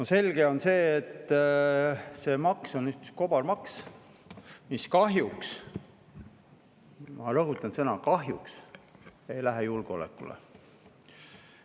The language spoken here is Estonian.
No selge on see, et see maks on üks kobarmaks, mis kahjuks – ma rõhutan sõna "kahjuks" – ei lähe julgeolekule.